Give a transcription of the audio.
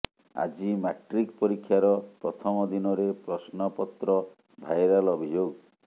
ଆଜି ମାଟ୍ରିକ ପରୀକ୍ଷାର ପ୍ରଥମ ଦିନରେ ପ୍ରଶ୍ନପତ୍ର ଭାଇରାଲ ଅଭିଯୋଗ